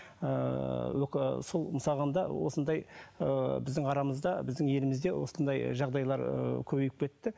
ыыы сол мысалға алғанда осындай ыыы біздің арамызда біздің елімізде осындай жағдайлар ыыы көбейіп кетті